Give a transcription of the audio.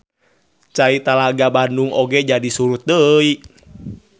Cai Talaga Bandung oge jadi surut deui.